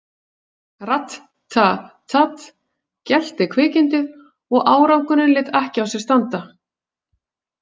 Rat- ta- tat, gelti kvikindið og árangurinn lét ekki á sér standa.